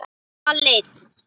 Hann var aleinn.